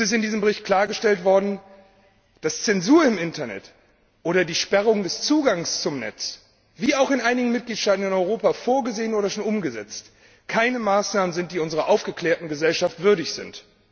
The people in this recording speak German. In diesem Bericht ist klargestellt worden, dass Zensur im Internet oder die Sperrung des Zugangs zum Netz, wie auch in einigen Mitgliedstaaten in Europa vorgesehen oder schon umgesetzt, keine Maßnahmen sind, die unserer aufgeklärten Gesellschaft würdig sind.